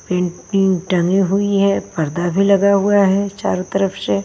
painting टंगी हुई हैं पर्दा भी लगा हुआ है चारों तरफ से --